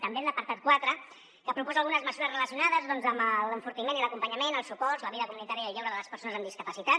també en l’apartat quatre que proposa algunes mesures relacionades doncs amb l’enfortiment i l’acompanyament els suports la vida comunitària i el lleure de les persones amb discapacitat